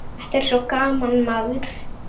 Þetta er svo gaman, maður.